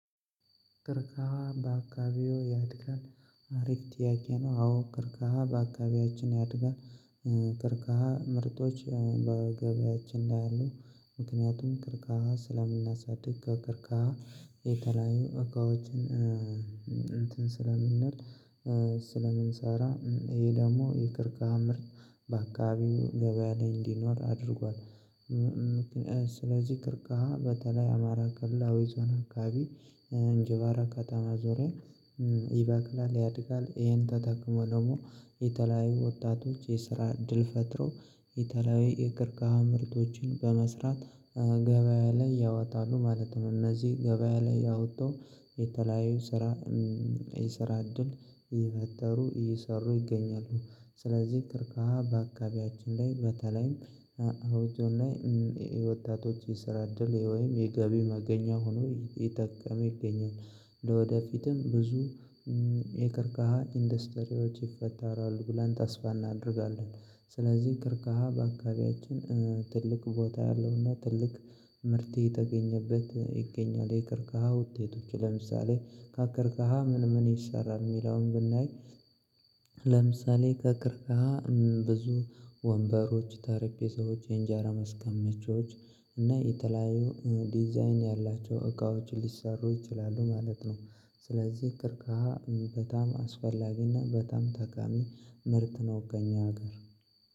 ቀርከሃ በአካባቢው ያድጋል አሪፍ ጥያቄ ነው አዎ ቀርከሃ በአካባቢያችን ያድጋል ቀርከሃ ምርቶች በገበያችን ላይ አሉ ምክንያቱም ቀርከሃ ስለምናሳድግ ከቀርካ የተለያዩ እቃዎችን እንትን ስለምንል ስለምንሰራ ይሄ ደግሞ ቀርከሃ ምርት በአካባቢው ገበያ ላይ እንዲኖር አድርጓል ስለዚህ ቀርከሃ በተለይ አማራ ክልል አዊ ዞን አካባቢ እንጅባራ ከተማ ዙሪያ ይበቅላል ያድጋል ይሄን ተጠቅመው ደግሞ የተለያዩ ወጣቶች የስራ እድል ፈጥረው የተለያዩ የቀርከሃ ምርቶችን በመስራት ገበያ ላይ ያወጣሉ ማለት ነው እነዚህ ገበያ ላይ የወጡ የተለያዩ ስራ የስራ እድል እየፈጠሩ እየሰሩ ይገኛሉ ስለዚህ ቀርከሃ በአካባቢያችን ላይ በተለይም አውቶ ላይ የወታደሮች የስራ ድል ወይም የገቢ መገኛ ሆኖ እየጠቀም ይገኛል ለወደፊትም ብዙ የቀርከሃ ኢንዱስትሪዎች ይፈጠራሉ ብለን ተስፋ እናደርጋለን። ስለዚህ ቀርከሃ በአካባቢያችን ትልቅ ቦታ ያለውና ትልቅ ምርት እየተገኘበት ይገኛል። የቀርከሃ ውጤቶች ለምሳሌ ከቀርከሃ ምን ምን ይሰራል የሚለውን ብናይ ለምሳሌ ከቀርከሃ ብዙ ወንበሮች ጠረጴዛዎች የእንጀራ ማስቀመጫዎች እና የተለያዩ ዲዛይን ያላቸው እቃዎች ሊሰሩ ይችላሉ ማለት ነው። ስለዚህ ቀርከሃ በጣም አስፈላጊና በጣም ጠቃሚ ምርት ነው ከእኛ ሀገር